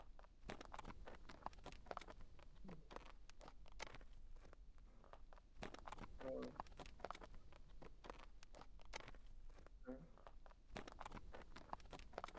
आह हो sir मला कळतंय पण जे बाकीचे pending delivery आहेत त्या पण आम्हाला करायचे आहेत तर मी तुम्हाला बदलुन तर नाही देऊ शकत कारण कि आणि बदलून द्यायचंच झालं